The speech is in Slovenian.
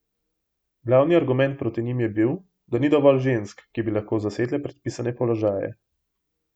Glavni argument proti njim je bil, da ni dovolj žensk, ki bi lahko zasedle predpisane položaje.